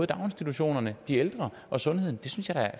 daginstitutionerne de ældre og sundheden